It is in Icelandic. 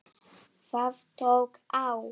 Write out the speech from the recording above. Það tók á.